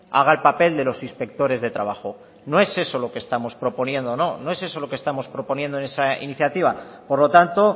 haga el papel de los inspectores de trabajo no es eso lo que estamos proponiendo no no es eso lo que estamos proponiendo en esa iniciativa por lo tanto